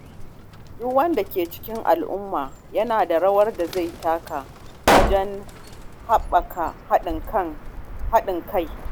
Duk wanda ke cikin al’umma yana da rawar da zai taka wajen haɓaka haɗin kai.